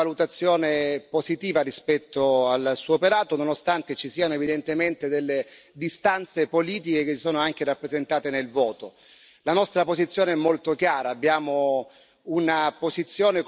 Ci conosciamo, La conosco e quindi posso sicuramente esprimere una valutazione positiva rispetto al Suo operato, nonostante ci siano evidentemente delle distanze politiche che si sono anche rappresentate nel voto.